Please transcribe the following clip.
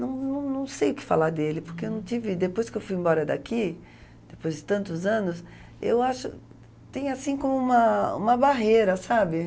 Não não não sei o que falar dele, porque eu não tive depois que eu fui embora daqui, depois de tantos anos, eu acho tem assim como uma uma barreira, sabe?